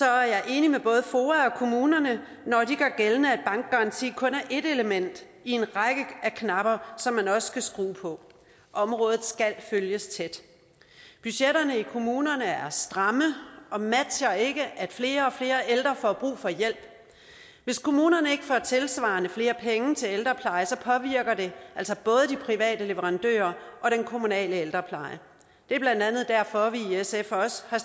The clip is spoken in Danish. er jeg enig med både foa og kommunerne når de gør gældende at bankgaranti kun er én af en række af knapper som man også skal skrue på området skal følges tæt budgetterne i kommunerne er stramme og matcher ikke at flere og flere ældre får brug for hjælp hvis kommunerne ikke får tilsvarende flere penge til ældrepleje påvirker det altså både de private leverandører og den kommunale ældrepleje det er blandt andet derfor vi i sf også har